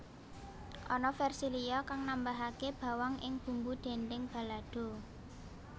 Ana versi liya kang nambahake bawang ing bumbu dhendheng balado